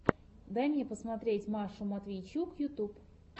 дай мне посмотреть машу матвейчук ютьюб